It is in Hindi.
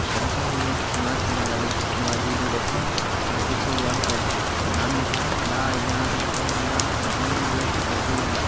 यंहा पर ये नमाज पढ़ने वाले नवाजी इधर बैठे है यंहा पीछे दीवार पर नाम लिखा है ला इलाहा ईल ईल इल्लाह मोहहमदूर रसुलूलाह।